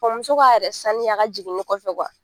Kɔ muso k'a yɛrɛ saniya a ka jiginni kɔfɛ .